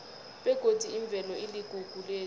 begodi imvelo iligugu lethu